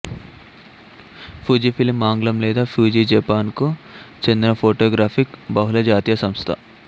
Fujifilm ఆంగ్లం లేదా Fuji Japan కు చెందిన ఫోటోగ్రఫిక్ బహుళజాతీయ సంస్థ